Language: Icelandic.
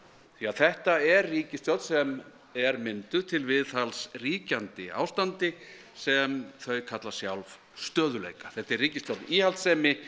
þetta er ríkisstjórn sem er mynduð til viðhalds ríkjandi ástandi sem þau kalla sjálf stöðugleika þetta er ríkisstjórn íhaldssemi